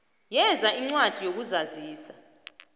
veza incwadi yokuzazisa